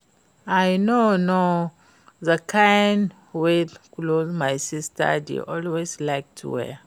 I no know the kin weird cloth my sister dey always like to wear